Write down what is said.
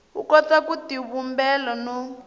u kota ku tivumbela no